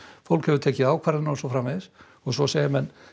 fólk hefur tekið ákvarðanir og svo framvegis og svo segja menn